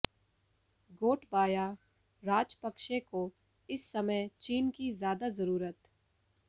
गोटबाया राजपक्षे को इस समय चीन की ज्यादा जरूरत